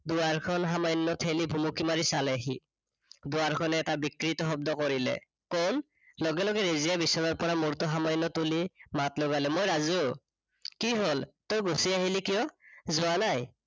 দুৱাৰখন সামান্য থেলি ভুমুকি মাৰি চালে সি। দুৱাৰখনে এটা বিকৃত শব্দ কৰিলে, কোন? লগে লগে ৰেজিয়াই বিচনাৰপৰা মূৰটো সামান্য তুলি মাত লগালে। মই ৰাজু, কি হল তই গুছি আহিলি কিয়? যোৱা নাই?